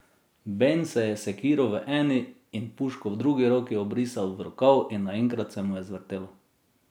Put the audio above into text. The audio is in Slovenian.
Ben se je s sekiro v eni in puško v drugi roki obrisal v rokav in naenkrat se mu je zvrtelo.